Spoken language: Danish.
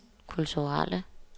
kulturelle